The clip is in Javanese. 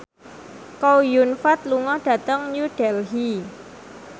Chow Yun Fat lunga dhateng New Delhi